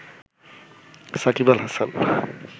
Shakib Al Hasan